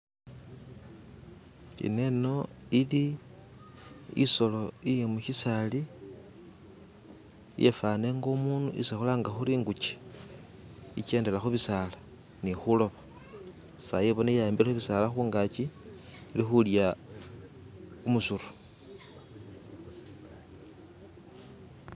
Eneno eli etsolo eyemukhitsali yefana nga umundu etsi khuranga khuri engukye, ekyendela khubitsaala ni khuloba, tsayi ebonekha yi'hambile khubitsaala khungaki, eri khulya khumusuru